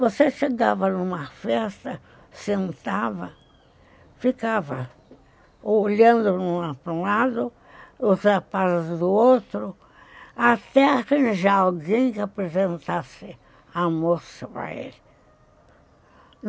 Você chegava numa festa, sentava, ficava olhando para um lado, os rapazes do outro, até arranjar alguém que apresentasse a moça para ele.